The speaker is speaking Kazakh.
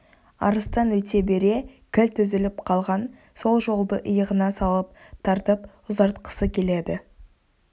арыстан өте бере кілт үзіліп қалған сол жолды иығына салып тартып ұзартқысы келеді